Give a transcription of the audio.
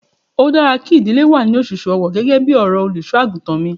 Ó dára kí ìdílé wà ní òṣùṣù ọwọ gẹ́gẹ́ bí ọ̀rọ̀ Olùṣọ́-àgùntàn mi.